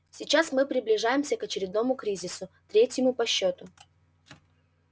сейчас мы приближаемся к очередному кризису третьему по счету